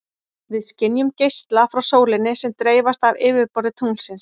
Við skynjum geisla frá sólinni sem dreifast af yfirborði tunglsins.